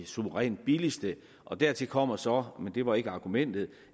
suverænt billigste dertil kommer så men det var ikke argumentet